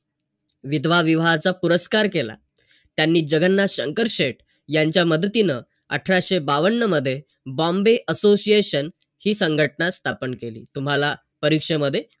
दुसरे भले कसे वागू द्या आपल्या सोबत पण आपण चांगलं वागायचं